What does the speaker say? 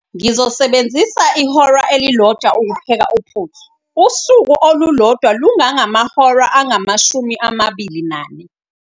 Ngizosebenzisa ihora elilodwa ukupheka uphuthu. usuku olulodwa lungangahora angamashumi amabili nane